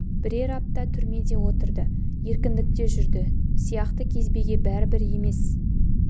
бірер апта түрмеде отырды еркіндікте жүрді сияқты кезбеге бәрібір емес